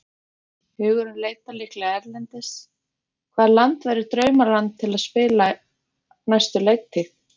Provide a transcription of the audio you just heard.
Hugurinn leitar líklega erlendis, hvaða land væri draumaland til að spila næstu leiktíð?